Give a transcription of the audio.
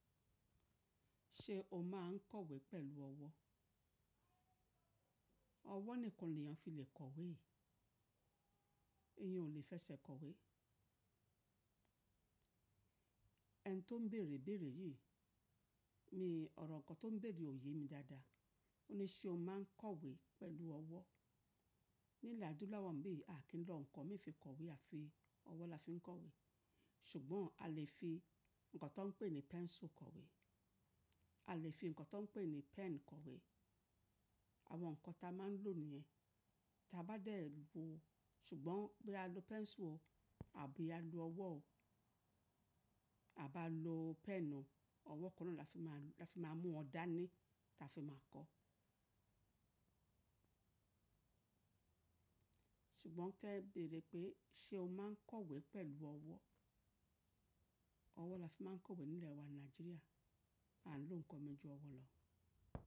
Ṣé o máa ń kọ̀wé pẹ̀lú ọwọ́? Ọwọ́ nìkan le èèyàn fi lè kọ̀wé. Èyàn ò lè fẹsẹ̀ kọ̀wé. Ẹ ni tó ń bèrè bèrè yìí, mi, ò rọ̀ nǹkan tó ń bèrè ò ye mi dáadáa. Ó ní ṣé o máa ń kọ̀wé pẹ̀lú ọwọ́? Ní ilẹ̀ adúláwọ̀ bí, a kì í lò nǹkan mi fi kọ̀wé, a fi ọwọ́ la fi ń kọ̀wé. Ṣùgbọ́n a lè fi nǹkan tó ń pè ní pẹ́nsù kọ̀wé. A lè fi nǹkan tó ń pè ní pẹ́n kọ̀wé. Àwọn nǹkan ta máa ń lò nìyẹn. Ta bá dẹ̀ lu, ṣùgbọ́n bí a lo pẹ́nsù o àbí a lo ọwọ́ o, a bá lo pẹn ó, ọwọ́ kan náà la fi máa mú wọn dání ta fi máa kọ́. Ṣùgbọ́n ke béèrè pé ṣé o máa ń kọ̀wé pẹ̀lú ọwọ́? Ọwọ́ la fi máa ń kọ̀wé nílẹ̀ wa Nàìjíríà. A ń lò nǹkan mi ju ọwọ́ lọ.